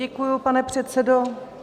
Děkuji, pane předsedo.